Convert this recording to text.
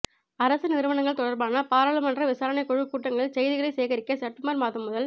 அரச நிறுவனங்கள் தொடர்பான பாராளுமன்ற விசாரணைக் குழு கூட்டங்களின் செய்திகளைச் சேகரிக்க செப்டம்பர் மாதம் முதல்